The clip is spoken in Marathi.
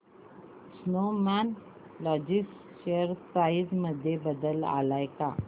स्नोमॅन लॉजिस्ट शेअर प्राइस मध्ये बदल आलाय का